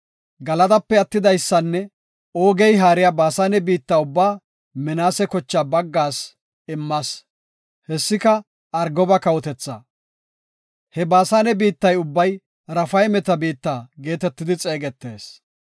Galadape attidaysanne Oogey haariya Baasane biitta ubbaa Minaase kochaa baggaas immas; hessika, Argoba kawotethaa. (He Baasane biittay ubbay Raafaymeta biitta geetetidi xeegetees.